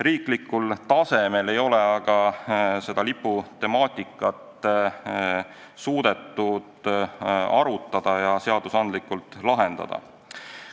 Riiklikul tasemel ei ole senimaani suudetud liputemaatikat arutada ja seadusandlikult lahendada.